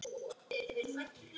Ég elska það, segir hún.